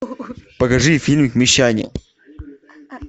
покажи фильм мещане